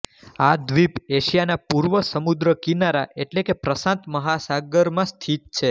આ દ્વીપ એશિયાના પૂર્વ સમુદ્રકિનારા એટલે કે પ્રશાંત મહાસાગરમાં સ્થિત છે